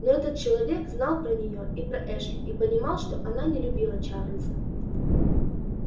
но этот человек знал про нее и про эшли и понимал что она не любила чарлза